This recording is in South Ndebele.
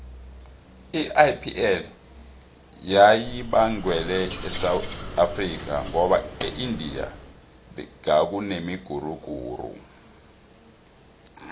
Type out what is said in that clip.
iipl beyibangwele esewula afrika ngoba eindia gadekunemiguruguru